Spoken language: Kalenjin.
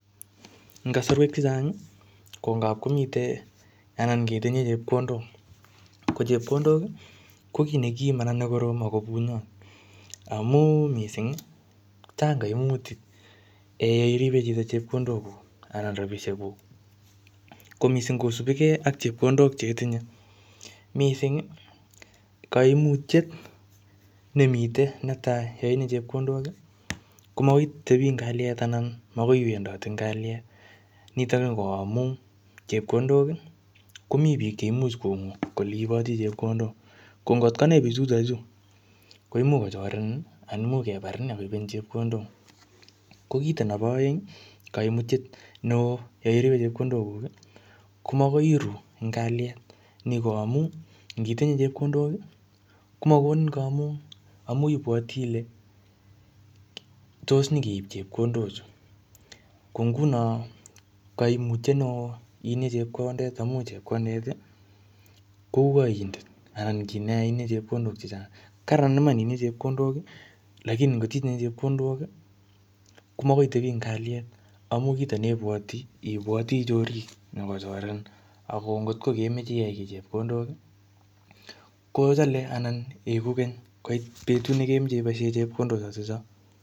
En kosoruek chechang ko ngap komite anan ketinye chepkondok ko chepkondok kokinekim ako bunyon amun missing' chang koimutik ee yeiribe chito chepkondokuk anan rabishekuk ko missing' kosibokee ak chepkondok chetinye missing' koimutiet nemiten netai yo itinye chepkondok ii komoitebi en kaliet anan iwendote en kaliet niton ko amun chepkondok komi bik cheimuch kongu kole iboti chepkondok kongot konai bichuto chu koimuch kochorenen anan koimuch kebarin ak koibenen chepkondok, ko kit nebo oeng koimutyet neo yeiribe chepkondokuk ii komokoi iruu en kaliet ni ko amun ingitinye chepkondok ii komokonin komung amun ibwoti ile tos nyokeib chepkondochu, konguno koimutyet neo itinye chepkondet amun chepkondet ii kou oindet anan kineya itinye chepkondet chechang karan iman itinye chepkondok ii lakini kot itinye chepkondok komokoi itebi en kaliet amun kitonebwoti ibwoti chorik chenyokochorenin ako ngot kokemoche iyai ki chepkondok kochele anan koiku keny betut nekemach iboisien chepkondoshechon.